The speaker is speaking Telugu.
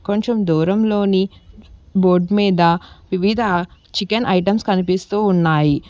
కొంచం దూరంలోని బోర్డు మీద వివిదా చికెన్ ఐటెంస్మ్ కనిపిస్తు ఉన్నాయి.